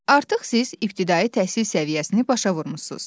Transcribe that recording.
Artıq siz ibtidai təhsil səviyyəsini başa vurmusunuz.